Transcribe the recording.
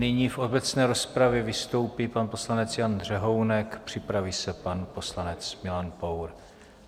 Nyní v obecné rozpravě vystoupí pan poslanec Jan Řehounek, připraví se pan poslanec Milan Pour.